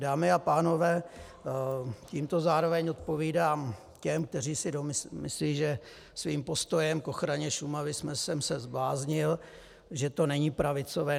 Dámy a pánové, tímto zároveň odpovídám těm, kteří si myslí, že svým postojem k ochraně Šumavy jsem se zbláznil, že to není pravicové.